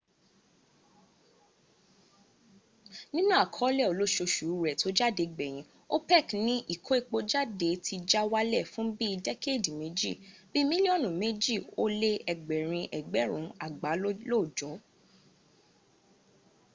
nínú àkọọ́lẹ̀ olóosòṣù rẹ tó jáde gbèyìǹ opec ní ìkó epo jáde ti já wálẹ̀ fún bí i dẹ́kéèdèméjì bíi mílíọ̀nù mẹ́jì ó lé ẹgbẹ̀rin ẹgbẹ̀rún àgbá lóòjọ́